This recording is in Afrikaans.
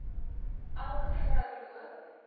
elke vrou loop